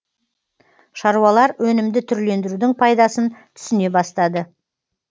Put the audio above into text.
шаруалар өнімді түрлендірудің пайдасын түсіне бастады